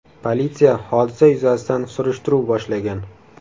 Politsiya hodisa yuzasidan surishtiruv boshlagan.